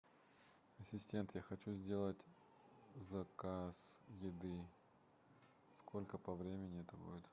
ассистент я хочу сделать заказ еды сколько по времени это будет